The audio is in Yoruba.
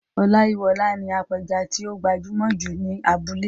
Ọláyíwọlá ni apẹja tí ó gbajúmọ̀ jù ní abúlé.